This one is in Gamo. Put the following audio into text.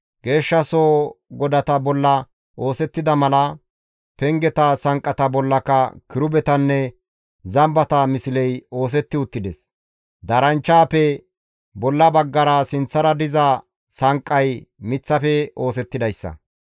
Geeshshasoho godata bolla oosettida mala, pengeta sanqqata bollaka kirubetanne zambata misley oosetti uttides. Daaranchchaappe bolla baggara sinththara diza sanqqay miththafe oosettidayssa.